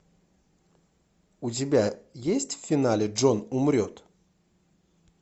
у тебя есть в финале джон умрет